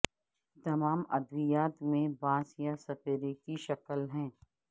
تمام ادویات میں بانس یا سپرے کی شکل ہے